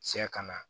Cɛ kana